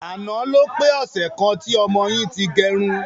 Àná ló pé ọsẹ̀ kan tí ọmọ yìí ti gẹrun.